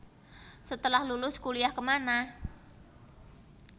Setelah Lulus Kuliah Kemana